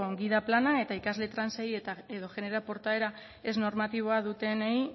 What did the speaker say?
gida plana eta ikasle trans ei edo genero portaera ez normatiboa dutenei